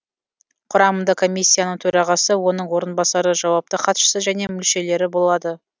құрамында комиссияның төрағасы оның орынбасары жауапты хатшысы және мүшелері болады